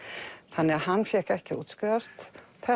þannig að hann fékk ekki að útskrifast